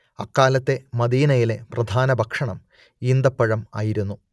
അക്കാലത്തെ മദീനയിലെ പ്രധാന ഭക്ഷണം ഈന്തപഴം ആയിരുന്നു